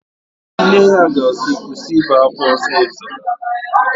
Nne ya ga-asị, kwụsị ibe ákwá ọsịsọ!